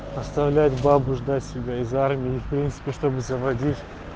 оставлять бабу ждать себя из армии и в принципе чтобы заводить